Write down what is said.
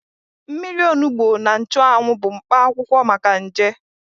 Mmiri onugbo na nchụanwụ bụ mkpa akwụkwọ maka nje.